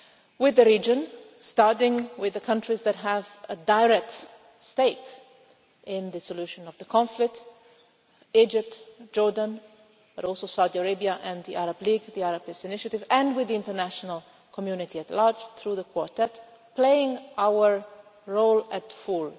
with the region, starting with the countries that have a direct stake in the solution of the conflict Egypt, Jordan but also Saudi Arabia and the Arab League, the Arab Peace Initiative and with the international community at large through the Quartet, playing our role in full.